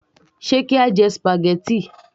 Ṣe kí á jẹ spaghetti